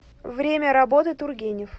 время работы тургенев